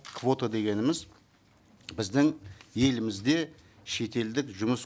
квота дегеніміз біздің елімізде шетелдік жұмыс